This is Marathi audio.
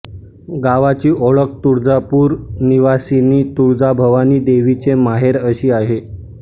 गावाची ओळख तुळजापूर निवासिनी तुळजाभवानी देवीचे माहेर अशी आहे